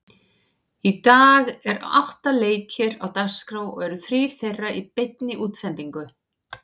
Í dag eru átta leikir á dagskrá og eru þrír þeirra í beinni útsendingu.